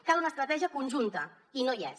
cal una estratègia conjunta i no hi és